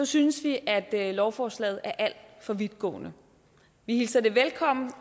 synes vi at lovforslaget er alt for vidtgående vi hilser det velkommen